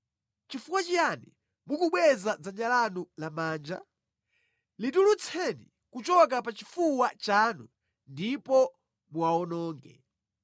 Chifukwa chiyani mukubweza dzanja lanu lamanja? Litulutseni kuchoka pachifuwa chanu ndipo muwawononge!